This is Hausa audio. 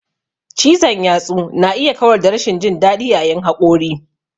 Cizon yatsu na iya kawar da rashin jin daɗi yayin haƙori.